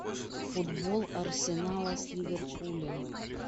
футбол арсенала с ливерпулем